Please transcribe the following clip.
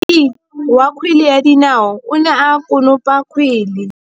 Motshameki wa kgwele ya dinaô o ne a konopa kgwele.